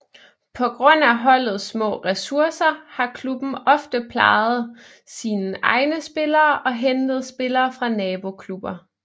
På grund af holdets små ressourcer har klubben ofte plejet sine egne spillere og hentet spillere fra naboklubber